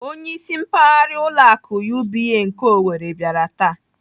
Onyeisi mpaghara ụlọ akụ UBA nke Owerri bịara taa.